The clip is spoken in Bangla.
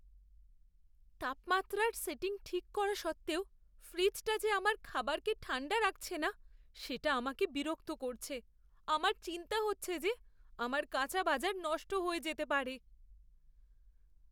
তাপমাত্রার সেটিং ঠিক করা সত্ত্বেও ফ্রিজটা যে আমার খাবারকে ঠাণ্ডা রাখছে না সেটা আমাকে বিরক্ত করছে। আমার চিন্তা হচ্ছে যে আমার কাঁচা বাজার নষ্ট হয়ে যেতে পারে।